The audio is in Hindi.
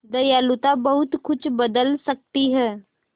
दयालुता बहुत कुछ बदल सकती है